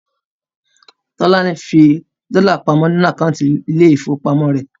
Tolani saved her dollars in her bank account